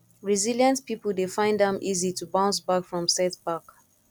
resilient pipo dey find am easy to bounce back from setback